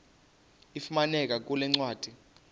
ifumaneka kule ncwadi